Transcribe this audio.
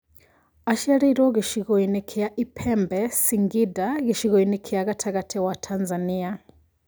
Aciarĩirwo gĩcigo-inĩ kĩa Ipembe, Singinda gĩcigo-inĩ kia gatagatĩ wa Tanzania